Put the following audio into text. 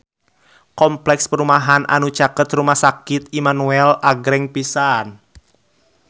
Kompleks perumahan anu caket Rumah Sakit Immanuel agreng pisan